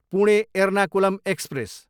Pune, Ernakulam express